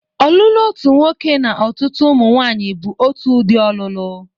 Ọlụlụ otu nwoke na ọtụtụ ụmụnwanyị bụ otu udị ọlụlụ.